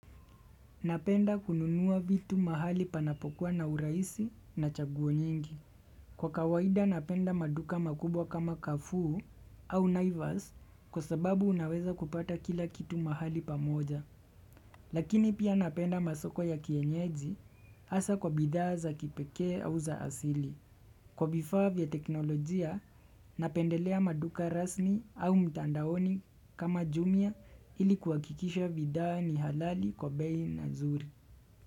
Napenda kununua vitu mahali panapokuwa na urahisi na chaguo nyingi. Kwa kawaida napenda maduka makubwa kama carrefour au naivas kwa sababu naweza kupata kila kitu mahali pamoja. Kwa kawaida napenda maduka makubwa kama carrefour, au naivas kwa sababu unaweza kupata kila kitu mahali pamoja. Kwa vifaa vya teknolojia napendelea maduka rasmi au mtandaoni kama jumia ili kuhakikisha bidhaa ni halali kwa bei nzuri.